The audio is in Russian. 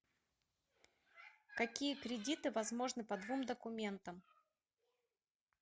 какие кредиты возможны по двум документам